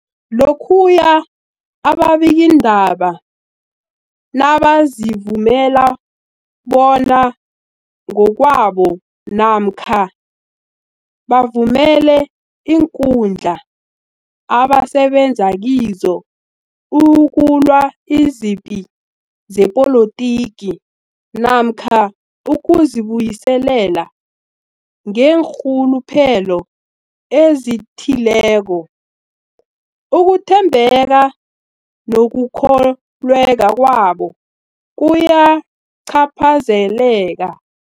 Lokhuya ababikiindaba nabazivumela bona ngokwabo namkha bavumele iinkundla abasebenza kizo ukulwa izipi zepolitiki namkha ukuzi buyiselela ngeenrhuluphelo ezithileko, ukuthembeka nokukholweka kwabo kuyacaphazeleka.